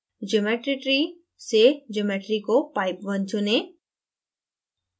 geometry tree से geometry को pipe _ 1 चुनें